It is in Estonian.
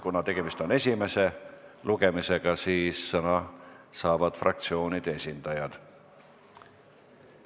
Kuna tegemist on esimese lugemisega, siis sõna saavad fraktsioonide esindajad.